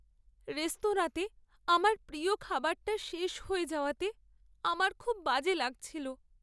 রেস্তোরাঁতে আমার প্রিয় খাবারটা শেষ হয়ে যাওয়াতে আমার খুব বাজে লাগছিলো।